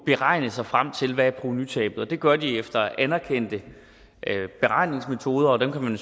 beregner sig frem til hvad provenutabet er det gør de efter anerkendte beregningsmetoder og dem kan man